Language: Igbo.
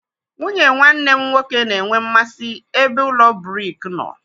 Nwunye nwanne m nwoke na-enwe mmasị ebe ụlọ brik nọ.